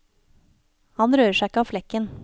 Han rører seg ikke av flekken.